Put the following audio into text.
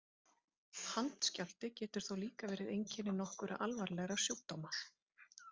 Handskjálfti getur þó líka verið einkenni nokkurra alvarlegra sjúkdóma.